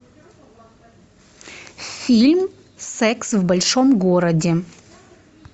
фильм секс в большом городе